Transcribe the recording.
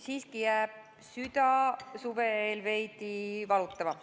Siiski jääb süda suve eel veidi valutama.